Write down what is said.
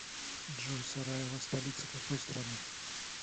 джой сараево столица какой страны